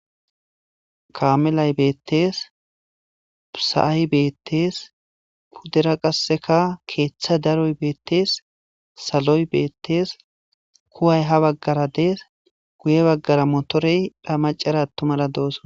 kaamelay beettees pusa7ay beettees puddera qasseka keeththa daroy beettees saloy beettees kuway ha baggara dees guye baggara motorey pha macara attumara dooso